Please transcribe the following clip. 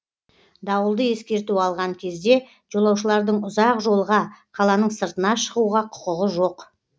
дауылды ескерту алған кезде жолаушылардың ұзақ жолға қаланың сыртына шығуға құқығы жоқ